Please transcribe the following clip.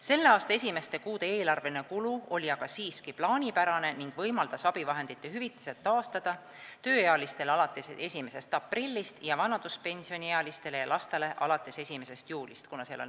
Selle aasta esimeste kuude eelarveline kulu oli aga siiski plaanipärane ning võimaldas abivahendite hüvitised taastada tööealistele alates 1. aprillist ning vanaduspensioniealistele ja lastele alates 1. juulist .